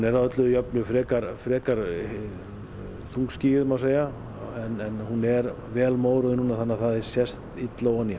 er öllu jöfnu þungskýjuð má segja en hún er vel mórauð núna þannig að það sést illa ofan í